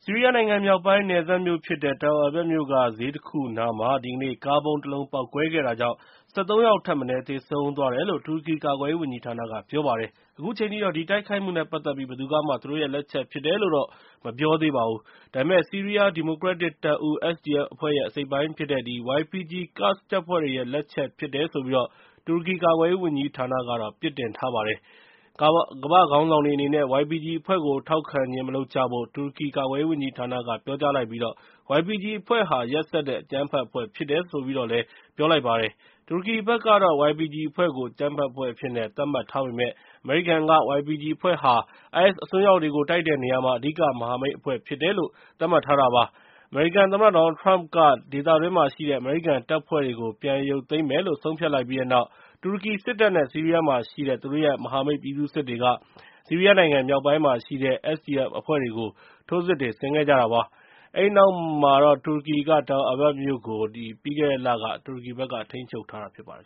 ီးရီးယားနိုင်ငံမြောက်ပိုင်း နယ်စပ်မြို့ဖြစ်တဲ့ Tal Abyab မြို့က ဈေးတခုနားမှာ ဒီကနေ့ ကားဗုံးတလုံး ပေါက်ကွဲခဲ့တာကြောင့် ၁၃ ယောက်ထက်မနည်း သေဆုံးသွားတယ်လို့ တူရကီ ကာကွယ်ရေးဝန်ကြီးဌာနက ပြောပါတယ်။ အခုချိန်ထိတော့ ဒီတိုက်ခိုက်မှုနဲ့ ပတ်သက်ပြီး ဘယ်သူကမှ သူတို့ရဲ့လက်ချက်ဖြစ်တယ်လို့ မပြောသေးပါဘူး။ ဒါပေမယ့် ဆီးရီးယား ဒီမိုကရက်တစ်တပ်ဦး SDF အဖွဲ့ရဲ့ အစိတ်အပိုင်းဖြစ်တဲ့ YPG ကာ့ဒ်တပ်ဖွဲ့ရဲ့ လက်ချက်ဖြစ်တယ်လို့ တူရကီ ကာကွယ်ရေးဝန်ကြီးဌာနက ပြစ်တင်လိုက်ပါတယ်။ ကမ္ဘာ့ခေါင်းဆောင်တွေအနေနဲ့ YPG အဖွဲ့ကို ထောက်ခံခြင်း မလုပ်ကြဖို့ တူရကီ ကာကွယ်ရေးဝန်ကြီးဌာနက ပြောလိုက်ပြီး YPG အဖွဲ့ဟာ ရက်စက်တဲ့ အကြမ်းဖက်အဖွဲ့ ဖြစ်တယ်လို့လည်း ပြောလိုက်ပါတယ်။ တူရကီဘက်ကတော့ YPG အဖွဲ့ကို အကြမ်းဖက်အဖွဲ့အဖြစ်နဲ့ သတ်မှတ်ထားပေမယ့် အမေရိကန်ကတော့ YPG အဖွဲ့ဟာ IS အစွန်းရောက်တွေကို တိုက်နေတဲ့နေရာမှာ အဓိက မဟာမိတ်အဖွဲ့ ဖြစ်တယ်လို့ သတ်မှတ်ထားပါတယ်။ အမေရိကန်သမ္မတ Donald Trump က ဒေသတွင်းမှာရှိတဲ့ အမေရိကန်တပ်ဖွဲ့တွေကို ပြန်ရုပ်သိမ်းမယ်လို့ ဆုံးဖြတ်လိုက်ပြီးတဲ့နောက် တူရကီစစ်တပ်နဲ့ ဆီးရီးယားမှာရှိတဲ့ သူတို့ရဲ့ မဟာမိတ် ပြည်သူ့စစ်အဖွဲ့တွေက ဆီးရီးယားနိုင်ငံ မြောက်ပိုင်းမှာရှိတဲ့ SDF အဖွဲ့တွေကို ထိုးစစ်တွေ ဆင်ခဲ့ကြတာပါ။ အဲဒီနောက်မှာ တူရကီက Tal Abyab မြို့ကို ပြီးခဲ့တဲ့လက ထိန်းချုပ်ထားတာဖြစ်ပါတယ်